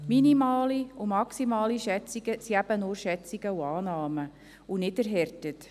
Minimale und maximale Schätzungen sind eben nur Schätzungen und Annahmen und nicht erhärtet.